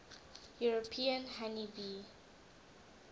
european honey bee